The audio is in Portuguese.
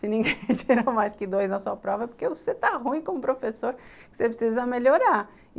Se ninguém gerou mais que dois na sua prova é porque você está ruim como professor, você precisa melhorar.